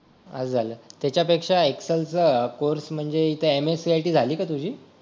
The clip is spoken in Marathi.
हा झालं त्याच्यापेक्षा एक्सेल चा कोर्स म्हणजे MSCIT झाली का तुझी